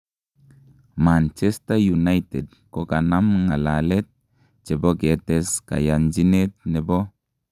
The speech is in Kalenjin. Manchester united kokanam ng'alalet chebo ketes kayanjinet nebo